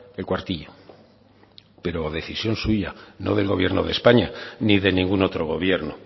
el cuartillo pero decisión suya no del gobierno de españa ni de ningún otro gobierno